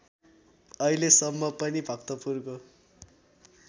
अहिलेसम्म पनि भक्तपुरको